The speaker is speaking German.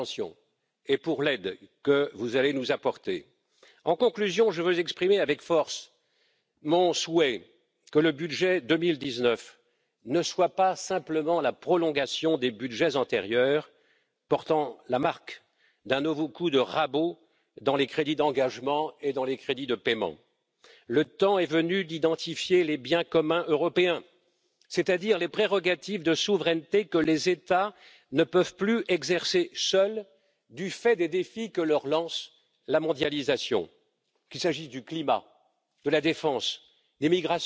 dafür zu sorgen, dass wir diesen Budgetrahmen und Haushalt 2019 auf der Basis vernünftiger Mittel zustande bringen. Abschließend noch einmal mein Appell Wir haben die Chance, gemeinsam zu diskutieren, und ich bin bereit, auch in harte Gespräche zu gehen und die Konflikte anzunehmen. Aber wichtig ist, dass wir letztendlich erkennen, auch im Vorschlag, den das Parlament in den nächsten Wochen auf Basis dieser Diskussion